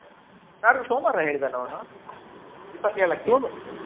ನಾಡ್ದು ಸೋಮ್ವಾರ ಹೇಳಿದಲ್ಲ ಅವ್ನು. ಹೌದು ಇಪತ್ತ್ ಏಳಕ್ಕೆ.